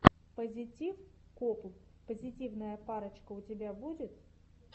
пазитив копл позитивная парочка у тебя будет